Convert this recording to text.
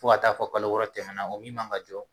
Fo ka t'a fɔ kalo wɔɔrɔ tɛmɛna o min man ka jɔ.